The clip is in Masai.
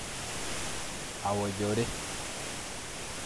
Awojore.